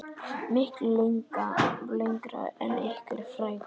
Miklu lengra en einhver frægð.